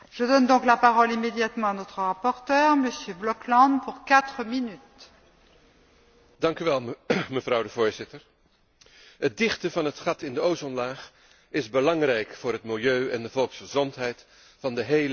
Voorzitter, het dichten van het gat in de ozonlaag is belangrijk voor het milieu en de volksgezondheid van de hele wereldbevolking. Onze atmosfeer is zodanig geschapen dat twee verschillende lagen ons beschermen.